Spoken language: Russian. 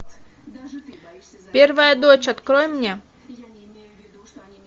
первая дочь открой мне